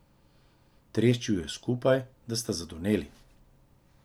Treščil ju je skupaj, da sta zadoneli.